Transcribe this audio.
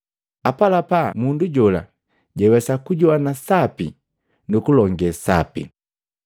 Apalapa mundu jola jawesa kujowana sapi nu kulongee sapi.